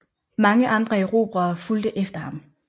Mange andre erobrere fulgte efter ham